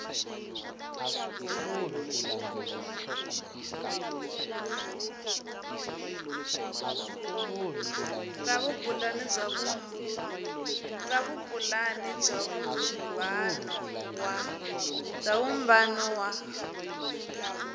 ra vupulani bya vumbano wa